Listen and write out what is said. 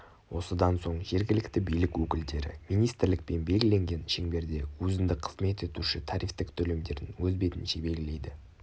осыдан соң жергілікті билік өкілдері министрлікпен белгіленген шеңберде өзіндік қызмет етуші тарифтік төлемдерін өз бетінше белгілейді